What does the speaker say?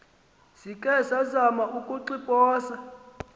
zikhe zamana ukuxiphosa